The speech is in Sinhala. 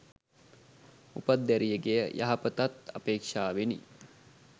උපත් දැරියගේ යහපතත් අපේක්‍ෂාවෙනි.